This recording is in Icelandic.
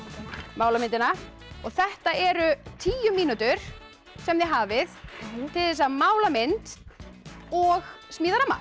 mála myndina þetta eru tíu mínútur sem þið hafið til þess að mála mynd og smíða ramma